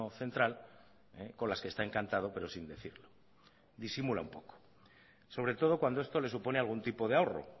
central con las que está encantado pero sin decirlo disimula un poco sobre todo cuando esto le supone algún tipo de ahorro